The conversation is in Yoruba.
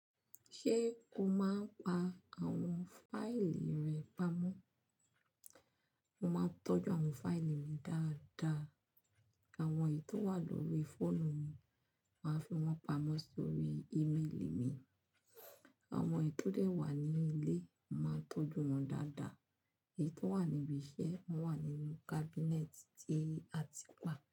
Ṣé o máa ń pa àwọn fáìlì rẹ pamọ́? Mo máa ń tọ́jú àwọn fáìlì mi dáadáa. Àwọn èyí tó wà lórí fóònù mi, màá fi wọ́n pamọ́ sórí ímíìlì mi. Àwọn èyí tó dẹ̀ wà ní ilé, màá tọ́jú wọn dáadáa. Èyí tó wà níbi iṣẹ́, wọ́n wà nínú kábínẹ́ẹ̀tì àti páà.